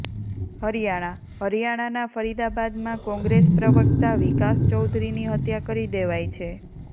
હરિયાણાઃ હરિયાણાના ફરીદાબાદમાં કોંગ્રેસ પ્રવક્તા વિકાસ ચૌધરીની હત્યા કરી દેવાઈ છે